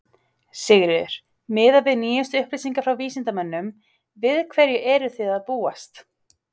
Sigríður: Miðað við nýjust upplýsingar frá vísindamönnum, við hverju eruð þið að búast?